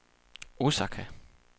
Osaka